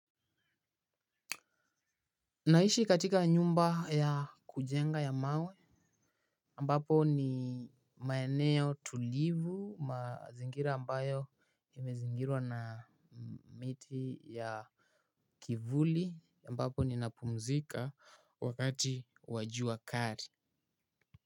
Naishi katika nyumba ya kujenga ya mawe. Mbapo ni maeneo tulivu mazingira ambayo imezingirwa na miti ya kivuli mbapo ninapumzika wakati wa jua kali.